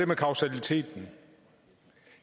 med kausaliteten